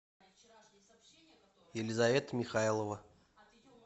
елизавета михайлова